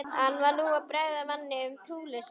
Hann var nú að bregða manni um trúleysi.